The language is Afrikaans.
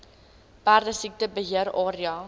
perdesiekte beheer area